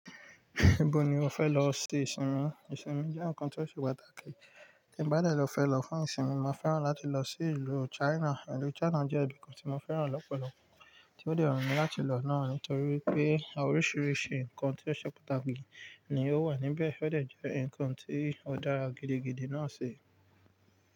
Ibo ni o fẹ lọ ṣe ìsinmi? Ìsinmi jẹ́ ǹkan tó ṣe pàtàkì, tí mo bá de fẹ lọ fún ìsinmi, mo fẹ́ràn láti lọ sí ìlú China. Ìlú China jẹ́ ibìkan tí mo fẹ́ràn lọ́pọ̀lọpọ̀ tí ó dè wu mi láti lọ náà, nítorí pé oríṣiríṣi ǹkan tó ṣe pàtàkì ni ó wà níbẹ̀, ó de jẹ́ ǹkan tí ó dára gidigidi náà ṣi.